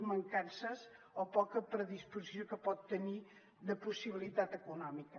mancances o poca predisposició que pot tenir de possibilitat econòmica